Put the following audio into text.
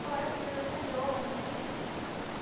Og þar var ekki verið að telja ofan í mann.